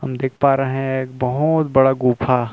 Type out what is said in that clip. हम देख पा रहै है एक बहोत बड़ा गुफा --